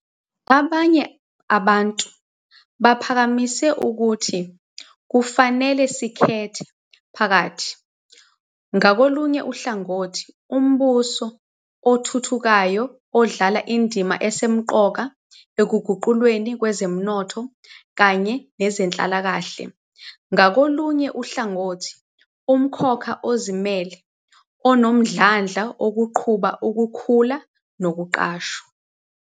Abanye abantu baphakamise ukuthi kufanele sikhethe phakathi, ngakolunye uhlangothi, umbuso othuthukayo odlala indima esemqoka ekuguqulweni kwezomnotho kanye nezenhlalakahle, ngakolunye uhlangothi, umkhakha ozimele, onomdlandla oqhuba ukukhula nokuqashwa.